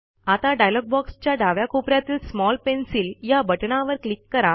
आता डायलॉग बॉक्सच्या डाव्या कोप यातील स्मॉल पेन्सिल या बटणावर क्लिक करा